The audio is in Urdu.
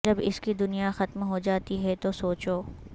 جب اس کی دنیا ختم ہوجاتی ہے تو سوچو